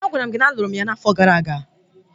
Agwara m gị na a lụrụ m ya na afo gara aga!